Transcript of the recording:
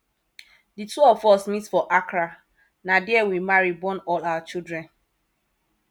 di two of us meet for accra na there we marry born all our children